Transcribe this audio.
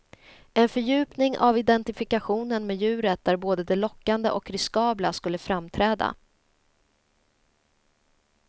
En fördjupning av identifikationen med djuret där både det lockande och riskabla skulle framträda.